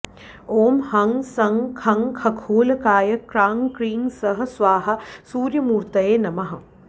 ॐ हं सं खं खखोल्काय क्रां क्रीं सः स्वाहा सूर्यमूर्तये नमः